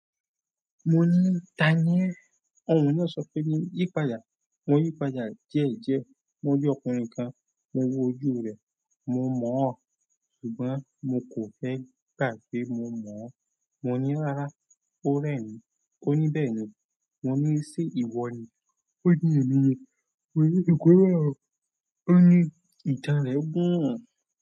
Mo ní "ta ni ẹ́?" Ohùn náà sọ pé ní "yípadà." Mo yípadà díẹ̀ díẹ̀, mo rí ọkùnrin kan, mo wo ojú rẹ̀, mo mọ̀-ọ́n, ṣùgbọ́n mo kò fẹ́ kà pé mo mọ̀-ọ́n. Mo ní "rárá." Ó rẹ́ mí. Ó ní "bẹ́ẹ̀ni." Mo ní "ṣé ìwọ ni?" Ó ní "èmi ni." Mo ní "kórẹ́ ọ." Ó ní "ìtàn rẹ̀ gùn."